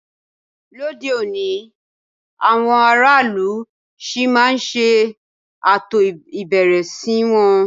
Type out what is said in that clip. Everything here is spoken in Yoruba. Lóde òní, àwọn aráàlú ṣì máa ń ṣe ààtò ìbẹ̀rẹ̀ ìsìn wọn